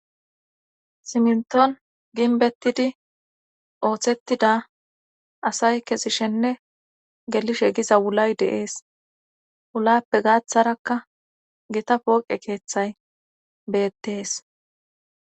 siminton ginbettidi ooththettida asay kesishenne gelishe giza wulay deees ulappe gaaththarakka gita pooqe keeththay beettees